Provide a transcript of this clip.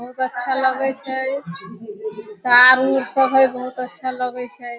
बहुत अच्छा लगय छै तार ऊर सब हेय बहुत अच्छा लगय छै।